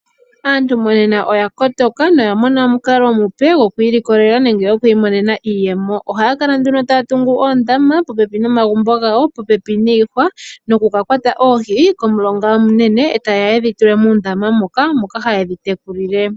Aantu monena oya kotoka noya mona omukalo omupe gwokwiilikolela nenge gwokwiimonena iiyemo. Ohaya kala nduno taya tungu oondama popepi nomagumbo gawo, popepi niihwa noku ka kwata oohi komulonga omunene etaya ye dhi fale muundama muka, moka haye dhi tekulile.